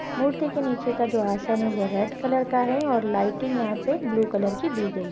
मूर्ति के नीचे का जो आसन है वो रेड कलर का है और लाइटिंग यहाँ पे ब्लू कलर की दी गई--